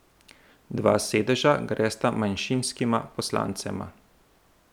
Dva sedeža gresta manjšinskima poslancema.